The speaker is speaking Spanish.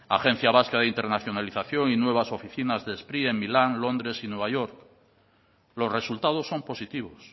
agencia vasca de internacionalización y nuevas oficinas de spri en milán londres y nueva york los resultados son positivos